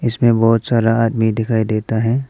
इसमें बहुत सारा आदमी दिखाई देता है।